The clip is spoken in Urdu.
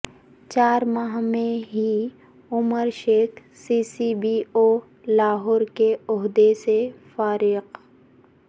چار ماہ میں ہی Umar Sheikh C C P O Lahore کے عہدے سے فارغ